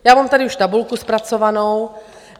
Já mám tady už tabulku zpracovanou.